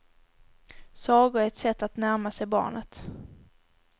Sagor är ett sätt att närma sig barnet.